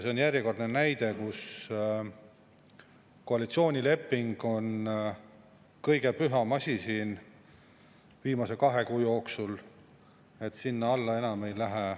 See on järjekordne näide selle kohta, et koalitsioonileping on kõige püham asi siin viimase kahe kuu jooksul olnud.